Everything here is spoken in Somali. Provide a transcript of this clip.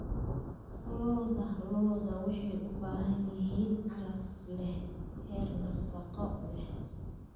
Lo'da lo'da waxay u baahan yihiin calaf leh heer nafaqo leh.